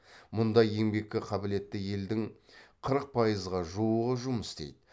мұнда еңбекке қабілетті елдің қырық пайызға жуығы жұмыс істейді